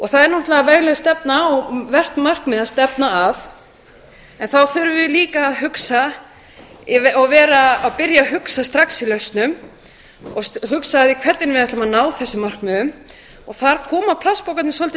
það er náttúrlega vegleg stefna og vert markmið að stefna að en þá þurfum við líka að hugsa og byrja að hugsa strax í lausnum og huga að því hvernig við ætlum að ná þessum markmiðum og þar koma plastpokarnir svolítið